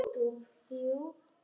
Henni fannst ég of ungur.